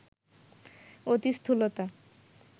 অতি স্থূলতা